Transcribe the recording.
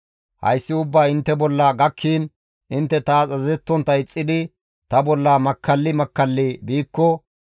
« ‹Hayssi ubbay intte bolla gakkiin intte taas azazettontta ixxidi ta bolla makkalli makkalli biikko,